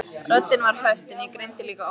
Röddin var höst en ég greindi líka ótta.